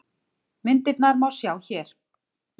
Myndirnar má sjá hér